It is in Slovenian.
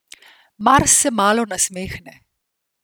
Mars se malo nasmehne.